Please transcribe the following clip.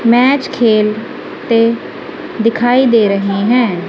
Match खेल ते दिखाई दे रहे हैं।